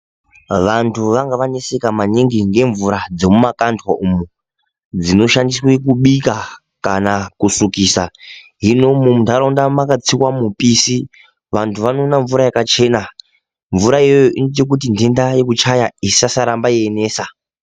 Vantu vanga vaneseka maningi ngemvura dzomumakandwa umo, dzinoshandiswe kubika kana kusukisa. Hino, muntaraunda makatsiwa mipisi, vantu vanoona mvura yakachena .Mvura iyoyo inoita kuti ntenda yekuchaya, isasaramba yeinesa.